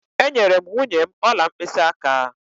Enyere m nwunye m ọla mkpịsịaka.